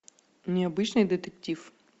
необычный детектив